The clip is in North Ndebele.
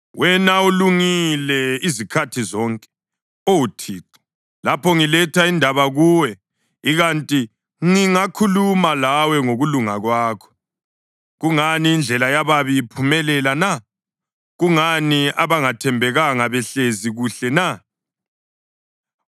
Wena ulungile izikhathi zonke, Oh Thixo, lapho ngiletha indaba kuwe. Ikanti ngingakhuluma lawe ngokulunga kwakho: Kungani indlela yababi iphumelela na? Kungani abangathembekanga behlezi kuhle na?